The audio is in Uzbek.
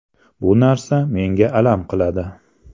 Bu narsa menga alam qiladi.